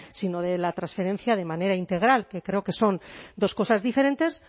sino de la transferencia de manera integral que creo que son dos cosas diferentes